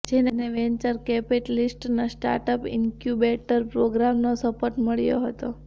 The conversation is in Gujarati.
જેને વેન્ચર કેપિટલિસ્ટના સ્ટાર્ટઅપ ઇન્ક્યુબેટર પ્રોગ્રામનો સપોર્ટ મળ્યો હતો